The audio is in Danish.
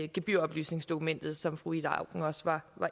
gebyroplysningsdokumentet som fru ida auken også var